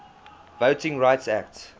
voting rights act